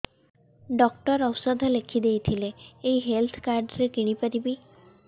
doctor ଔଷଧ ଲେଖିଦେଇଥିଲେ ଏଇ ହେଲ୍ଥ କାର୍ଡ ରେ କିଣିପାରିବି